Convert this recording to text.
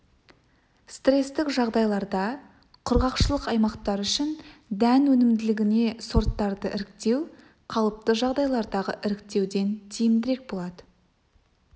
стресстік жағдайларда құрғақшылық аймақтар үшін дән өнімділігіне сорттарды іріктеу қалыпты жағдайлардағы іріктеуден тиімдірек болады